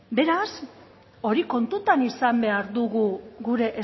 beraz hori kontutan izan behar dugu gure